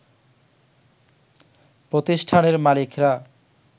প্রতিষ্ঠানের মালিকরা